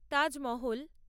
Taj Mahal